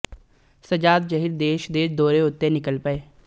ਸੱਜਾਦ ਜਹੀਰ ਦੇਸ਼ ਦੇ ਦੌਰੇ ਉੱਤੇ ਨਿਕਲ ਪਏ